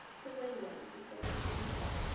ukwenza isicelo sokuba